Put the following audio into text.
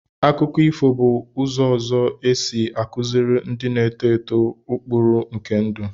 Akụkọ ifo bụ ụzọ ọzọ e si akụziri ndị na-eto eto ụkpụrụ nke ndụ.